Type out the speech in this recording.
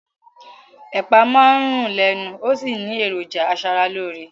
Ẹ̀pà máa ń rún lẹ́nu ó sì ní èròjà aṣaralóore